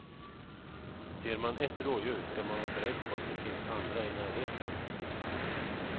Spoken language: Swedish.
Ser man ett rådjur ska man vara beredd på att det finns andra i närheten.